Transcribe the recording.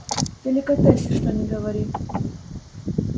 деликатес что ни говори